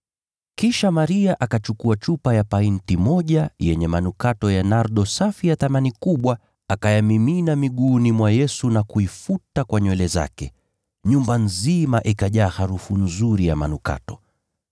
Kisha Maria akachukua chupa ya painti moja yenye manukato ya nardo safi ya thamani kubwa, akayamimina miguuni mwa Yesu na kuifuta kwa nywele zake. Nyumba nzima ikajaa harufu nzuri ya manukato.